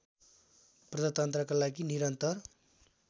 प्रजातन्त्रका लागि निरन्तर